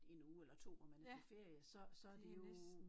En uge eller 2 hvor man er på ferie så så det jo